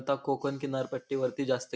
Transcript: आता कोकन किनारपट्टी वरती जास्त--